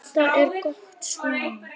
Þetta er gott svona.